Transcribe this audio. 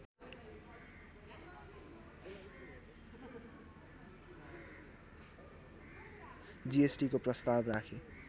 जिएसटिको प्रस्ताव राखे